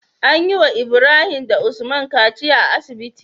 Anyi wa Ibrahim da usman kaciya a asibiti